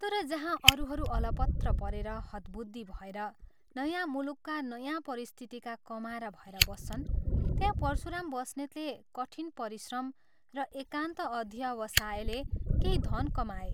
तर जहाँ अरूहरू अलपत्र परेर, हतबुद्धि भएर, नयाँ मुलुकका नयाँ परिस्थितिका कमारा भएर बस्छन् त्यहाँ परशुराम बस्नेतले कठिन परिश्रम र एकान्त अध्यवसायले केही धन कमाए।